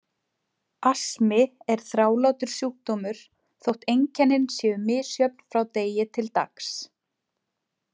Astmi er þrálátur sjúkdómur þótt einkennin séu misjöfn frá degi til dags.